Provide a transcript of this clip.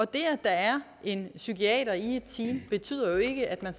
det at der er en psykiater i et team betyder jo ikke at man